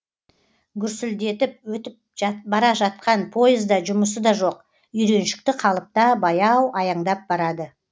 гүрсілдетіп өтіп бара жатқан поезда жұмысы да жоқ үйреншікті қалыпта баяу аяңдап барады